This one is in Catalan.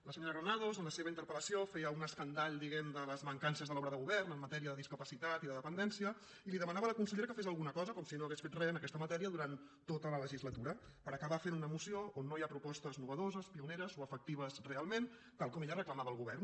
la senyora granados en la seva interpel·lació feia un escandall diguem ne de les mancances de l’obra de govern en matèria de discapacitat i de dependència i demanava a la consellera que fes alguna cosa com si no hagués fet re en aquesta matèria durant tota la legislatura per acabar fent una moció on no hi ha propostes noves pioneres o efectives realment tal com ella reclamava al govern